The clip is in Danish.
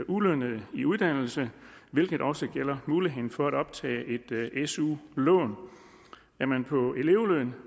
ulønnede i uddannelse hvilket også gælder muligheden for at optage et su lån er man på elevløn